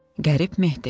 Qərib Mehdi.